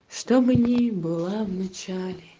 чтобы не было в начале